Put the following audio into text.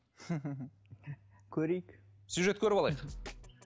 көрейік сюжет көріп алайық